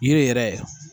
Yiri yɛrɛ